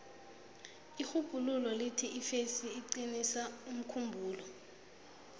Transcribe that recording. irhubhululo lithi ifesi iqinisa umkhumbulo